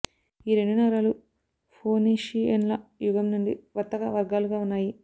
ఈ రెండు నగరాలు ఫోనీషియన్ల యుగం నుండి వర్తక వర్గాలుగా ఉన్నాయి